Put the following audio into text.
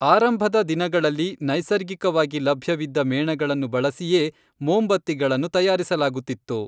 ಆರಂಭದ ದಿನಗಳಲ್ಲಿ ನೈಸರ್ಗಿಕವಾಗಿ ಲಭ್ಯವಿದ್ದ ಮೇಣಗಳನ್ನು ಬಳಸಿಯೇ ಮೋಂಬತ್ತಿಗಳನ್ನು ತಯಾರಿಸಲಾಗುತ್ತಿತ್ತು.